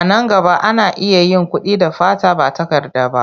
A nan gaba, ana iya yin kuɗi da fata ba takarda ba.